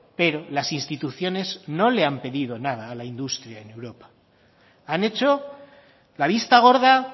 pero las instituciones no le han pedido nada a la industria en europa han hecho la vista gorda